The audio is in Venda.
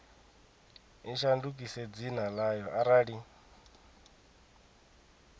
i shandukise dzina ḽayo arali